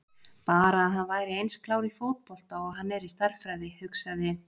Bara að hann væri eins klár í fótbolta og hann er í stærðfræði hugsaði